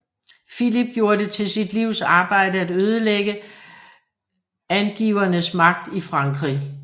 Filip gjorde det til sit livs arbejde at ødelægge angevinernes magt i Frankrig